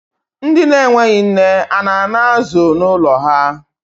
Ndi enweghi nne, a na-ana azụ n'ụlọ ha?